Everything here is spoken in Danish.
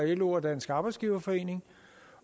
lo og dansk arbejdsgiverforening